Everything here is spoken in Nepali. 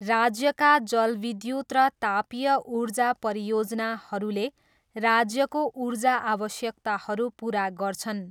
राज्यका जलविद्युत र तापीय ऊर्जा परियोजनाहरूले राज्यको ऊर्जा आवश्यकताहरू पुरा गर्छन्।